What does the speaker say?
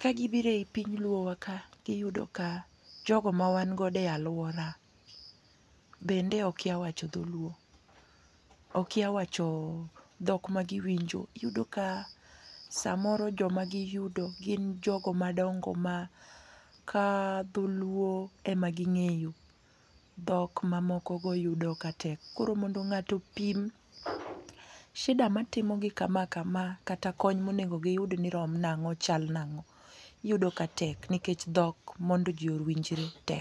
Ka gibiro eipiny luowa ka giyudo ka jogo ma wan godo e aluora bende okia wacho dholuo. Okia wacho dhok magiwinjo. Iyudo ka samamoro joma giyudo gin jogo madongo makadholuo ema ging'eyo to ok mamoko go giyudo katek koro mondo ng'atomopimni tek. Shida mayudogi en kama kama kata kony ma onego gitim, giyud ni rom nang'o chal nang'o iyudo katek nikech dhok mon do ji owinji iyudo ka tek.